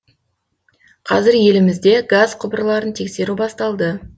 қазір елімізде газ құбырларын тексеру басталды